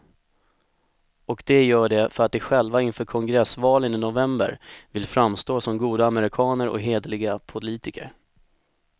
Och de gör det för att de själva inför kongressvalen i november vill framstå som goda amerikaner och hederliga politiker.